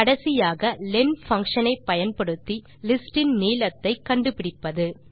கடைசியாக len function ஐ பயன்படுத்தி லிஸ்டின் நீளத்தை கண்டு பிடிப்பது